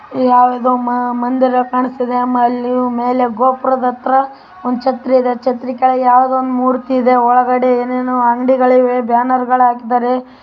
ಯಾವುದೋ ಮಂದಿರ ಕಾಣಿಸುತ್ತಿದೆ ಮೇಲೆ ಅಲ್ಲಿ ಗೋಪುರದ ಹತ್ತಿರ ಒಂದು ಛತ್ರಿ ಇದೆ ಛತ್ರಿ ಕೆಳಗೆ ಯಾವುದೊ ಒಂದು ಮೂರ್ತಿ ಇದೆ. ಒಳಗಡೆ ಏನೇನೋ ಅಂಗಡಿ ಇದೆ ಬ್ಯಾನರ್‌ ಗಳು ಹಾಕಿದ್ದಾರೆ.